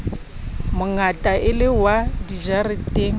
mongata e le wa dijareteng